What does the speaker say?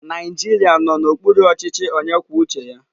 Naijiria nọ n'okpuru ọchịchị onye kwuo uche ya.